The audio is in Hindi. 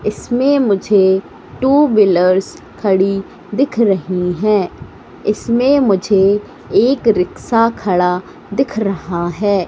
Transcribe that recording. इसमें मुझे टू व्हीलर्स खड़ी दिख रही हैं इसमें मुझे एक रिक्शा खड़ा दिख रहा है।